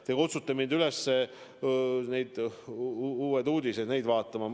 Te kutsute mind üles neid Uusi Uudiseid jälgima.